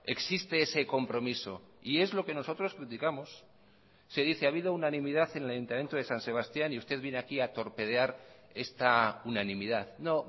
existe ese compromiso y es lo que nosotros criticamos se dice ha habido unanimidad en el ayuntamiento de san sebastián y usted viene aquí a torpedear esta unanimidad no